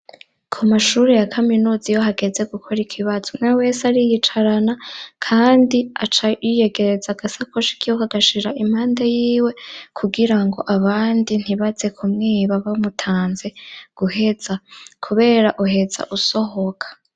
Ku mashuri ya kaminuza iyo hageze gukora ikibazo, umwewe wese ariyicarana kandi aca yiyegereza agasakoshi kiwe, akagashira impande yiwe kugira ngo abandi ntibaze kumwiba bamutanze guheza, kubera uheza usohoka.